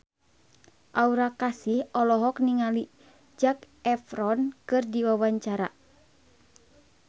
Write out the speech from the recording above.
Aura Kasih olohok ningali Zac Efron keur diwawancara